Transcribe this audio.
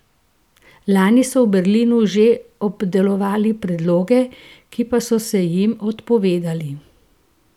Lani so v Berlinu že obdelovali predloge, ki pa so se jim odpovedali.